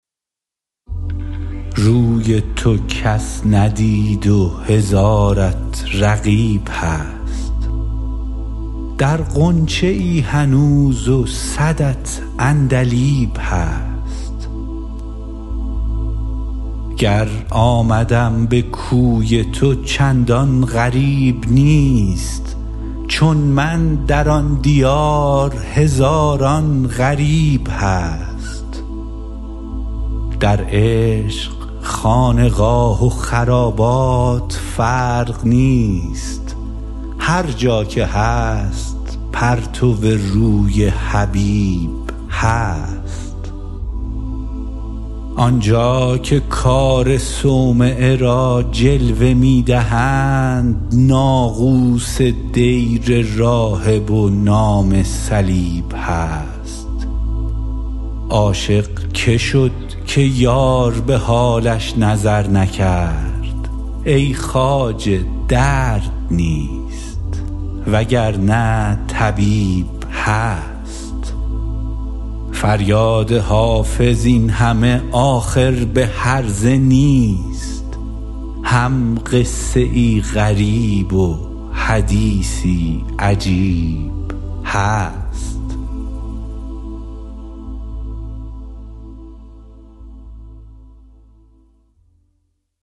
روی تو کس ندید و هزارت رقیب هست در غنچه ای هنوز و صدت عندلیب هست گر آمدم به کوی تو چندان غریب نیست چون من در آن دیار هزاران غریب هست در عشق خانقاه و خرابات فرق نیست هر جا که هست پرتو روی حبیب هست آن جا که کار صومعه را جلوه می دهند ناقوس دیر راهب و نام صلیب هست عاشق که شد که یار به حالش نظر نکرد ای خواجه درد نیست وگرنه طبیب هست فریاد حافظ این همه آخر به هرزه نیست هم قصه ای غریب و حدیثی عجیب هست